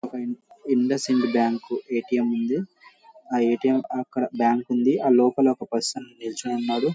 ఒక IndusInd bank A T M ఉంది. ఆ ఏ టీ ఎం అక్కడ బ్యాంకు ఉంది ఆ లోపల ఒక పర్సన్ నుంచుని ఉన్నాడు.